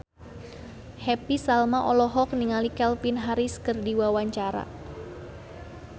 Happy Salma olohok ningali Calvin Harris keur diwawancara